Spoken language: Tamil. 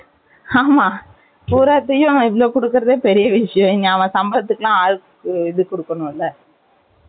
ஆமா. பூராத்தையும், இவ்வளவு கொடுக்கிறதே, பெரிய விஷயம். இங்க, அவன் சம்பளத்துக்கு எல்லாம், ஆளுக்கு, இது குடுக்கணும் இல்ல?